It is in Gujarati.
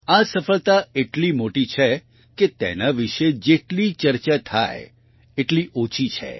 આ સફળતા એટલી મોટી છે કે તેના વિશે જેટલી ચર્ચા થાય એટલી ઓછી છે